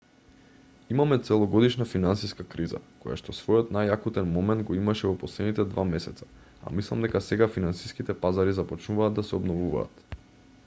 имаме целогодишна финансиска криза којашто својот најакутен момент го имаше во последните два месеца а мислам дека сега финансиските пазари започнуваат да се обновуваат